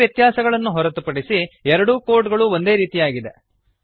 ಈ ವ್ಯತ್ಯಾಸಗಳನ್ನು ಹೊರತುಪಡಿಸಿ ಎರಡೂ ಕೋಡ್ ಗಳೂ ಒಂದೇ ರೀತಿಯಾಗಿದೆ